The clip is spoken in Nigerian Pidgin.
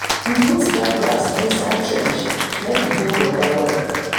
we put dry grass inside trench make e hold water well.